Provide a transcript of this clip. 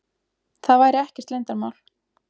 Það væri ekkert leyndarmál.